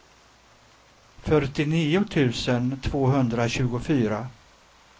fyrtionio tusen tvåhundratjugofyra